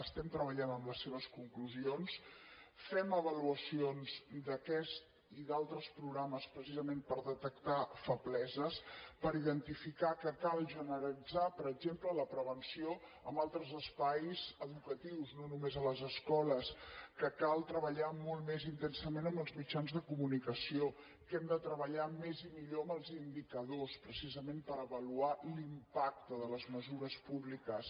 estem treballant en les seves conclusions fem avaluacions d’aquest i d’altres programes precisament per detectar febleses per identificar que cal generalitzar per exemple la prevenció en altres espais educatius no només a les escoles que cal treballar molt més intensament amb els mitjans de comunicació que hem de treballar més i millor amb els indicadors precisament per avaluar l’impacte de les mesures públiques